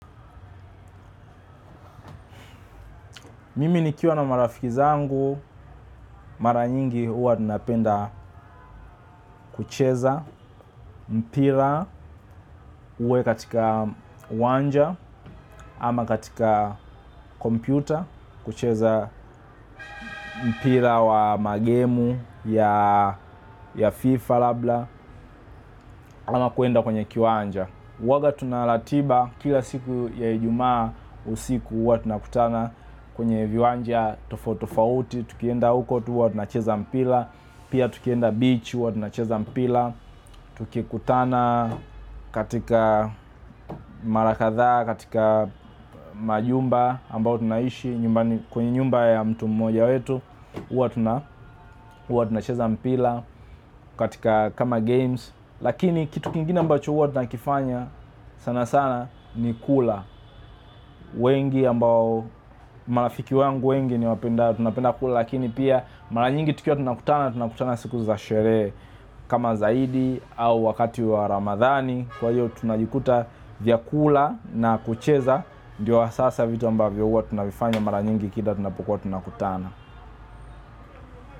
Mimi nikiwa na marafiki zangu, mara nyingi huwa tunapenda kucheza mpira uwe katika uwanja, ama katika kompyuta kucheza mpira wamagemu ya fifa labda ama kwenda kwenye kiwanja. Huwaga tuna ratiba kila siku ya ijumaa usiku, huwa tunakutana kwenye viwanja tofauti tofauti tukienda huko tu huwa tunacheza mpira, piatukienda beach huwa tunacheza mpira, tukikutana katika mara kadhaa, katika majumba ambayo tunaishi, kwenye nyumba ya mtu mmoja wetu huwa tunacheza mpira, katika kama games. Lakini kitu kingine ambacho huwa tunakifanya sana sana ni kula wengi ambao marafiki wangu wengi ni wapenda tunapenda kula. Lakini pia mara nyingi tukiwa tunakutana, tunakutana siku za sherehe kama zaidi au wakati wa ramadhani. Kwa hiyo tunajikuta vyakula na kucheza ndiyo hasa hasa vitu ambavyo hua tunavifanya mara nyingi kila tunapukua tunakutana.